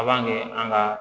A b'a kɛ an ka